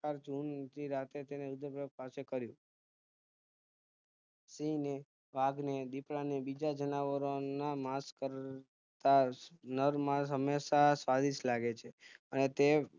સિંહને વાઘને દીપડાને હંમેશા બીજા જાનવરોના માંસ કરતા નર માંસ હંમેશા સ્વાદિષ્ટ લાગે છે અને તે